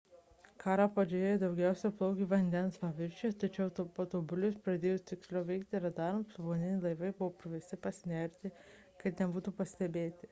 karo pradžioje jie daugiausia plaukė vandens paviršiuje tačiau patobulėjus ir pradėjus tiksliau veikti radarams povandeniniai laivai buvo priversti pasinerti kad nebūtų pastebėti